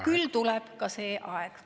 Küll tuleb ka see aeg.